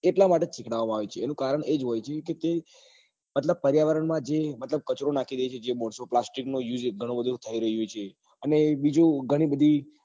એટલા માટે સીખાડાવવા માં આવે છે એનું કારણ એ જ હોય છે કે તે મતલબ પર્યાવરણ માં જે મતલબ કચરો નાખી જાય છે માણસો plastic નો use ગણો બધો થઇ રહ્યો છે અને બીજું ગણી બધી